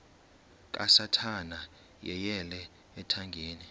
kasathana yeyele ethangeni